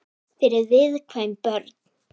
Fyrir viðkvæm börn.